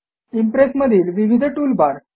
impress मधील विविध toolbar